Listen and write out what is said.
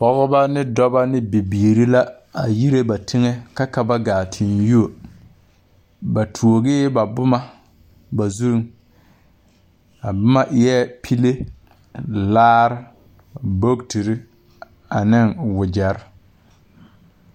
Pɔɔbɔ ne dɔbɔ ne bibiire la a yire ba teŋɛ ka ka ba gaa teŋ yuo ba tuogee ba bomma ba zuŋ a bomma eɛɛ pile laare bogiterre aneŋ wogyɛrre.